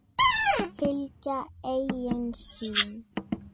Fylgja eigin sýn.